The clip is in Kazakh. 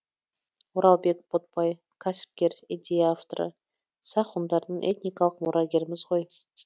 оралбек ботбай кәсіпкер идея авторы сақ ғұндардың этникалық мұрагеріміз ғой